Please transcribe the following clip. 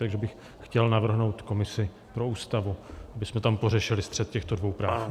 Takže bych chtěl navrhnout komisi pro Ústavu, abychom tam pořešili střet těchto dvou práv.